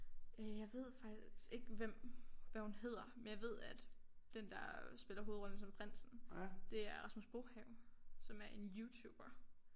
Øh jeg ved faktisk ikke hvem hvad hun hedder men jeg ved at den der spiller hovedrollen som prinsen det er Rasmus Brohave som er en youtuber